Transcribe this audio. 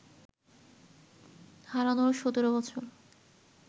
হারানোর সতেরো বছর